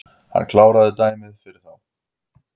Hann kláraði dæmið fyrir þá